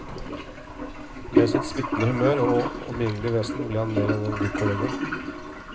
Med sitt smittende humør og omgjengelige vesen ble han mer enn en god kollega.